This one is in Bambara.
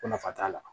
Ko nafa t'a la